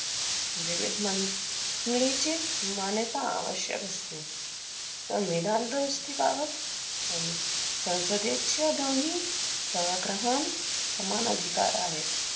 मांड~ लीचे मान्यता आवश्यक असते. संविधान दुरुस्तीबाबत सं~ संसदेच्या दोन्ही सभाग्रहांत समान अधिकार आहेत.